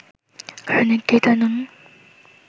কারণ একটিই, তাঁর নুনু